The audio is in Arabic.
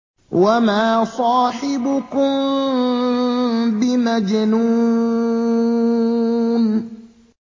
وَمَا صَاحِبُكُم بِمَجْنُونٍ